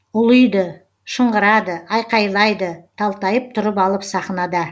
ұлиды шыңғырады айқайлайды талтайып тұрып алып сахнада